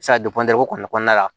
se ka ko kɔni kɔnɔna la